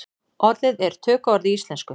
Orðið er tökuorð í íslensku.